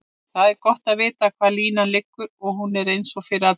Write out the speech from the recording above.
Það er gott að vita hvar línan liggur og hún sé eins fyrir alla.